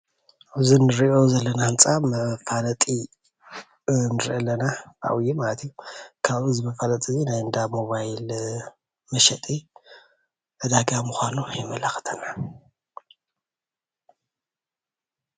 እዚ እንሪኦ ዘለና ህንፃ መፋለጢ ንሪኢ ኣለና ብዓብይ ማለት እዩ፡፡ ካብዚ መፋለጢ እዚ ናይ እንዳ ሞባይል መሸጢ ዕዳጋ ምኳኑ የመላክተና